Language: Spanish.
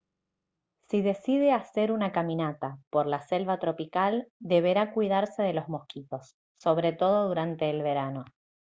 si decide hacer una caminata por la selva tropical deberá cuidarse de los mosquitos sobre todo durante el verano